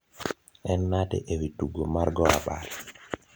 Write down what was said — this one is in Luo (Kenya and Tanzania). en nade ewi tugo mar go abal